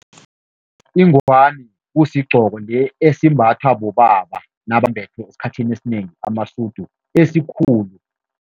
Ingwani kusigqoko esimbathwa bobaba nabambethe esikhathini esinengi amasudu esikhulu.